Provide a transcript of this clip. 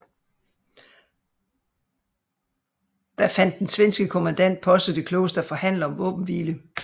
Da fandt den svenske kommandant Posse det klogest at forhandle om våbenhvile